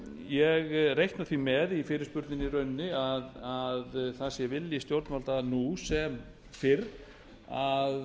ég reikna því með í fyrirspurninni í rauninni að það sé vilji stjórnvalda nú sem fyrr að